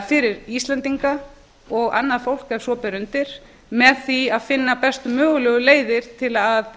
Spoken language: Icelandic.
fyrir íslendinga og annað fá ef svo ber undir með því að finna bestu mögulegu leiðir til að